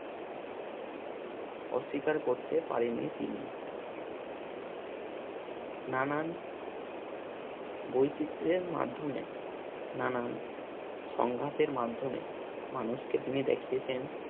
অস্বীকার করতে পারেননি তিনি নানান বৈচিত্রের মাধ্যমে নানান সংঘাতের মাধ্যমে মানুষকে তিনি দেখিয়েছেন